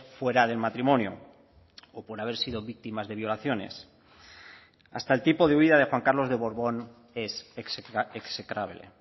fuera del matrimonio o por haber sido víctimas de violaciones hasta el tipo de huida de juan carlos de borbón es execrable